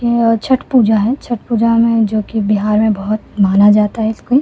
ये छठ पूजा है छठ पूजा में जो कि बिहार में बहुत माना जाता है इसको।